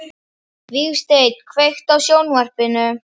Vígsteinn, kveiktu á sjónvarpinu.